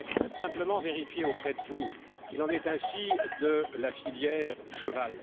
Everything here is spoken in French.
Je voudrais simplement vérifier auprès de vous qu'il en est ainsi de la filière cheval.